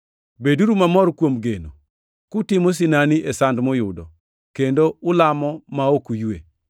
Beduru mamor kuom geno, kutimo sinani e sand muyudo, kendo ulamo ma ok uywe.